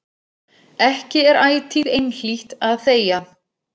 Ekki er ætíð einhlítt að þegja.